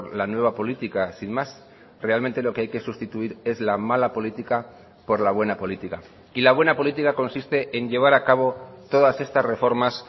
la nueva política sin más realmente lo que hay que sustituir es la mala política por la buena política y la buena política consiste en llevar a cabo todas estas reformas